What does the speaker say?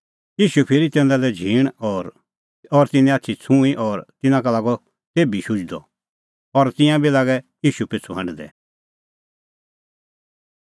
ईशू फिरी तिन्नें झींण और तिन्नें आछी छ़ुंईं और तिन्नां का लागअ तेभी शुझणअ और तिंयां बी लागै ईशू पिछ़ू हांढदै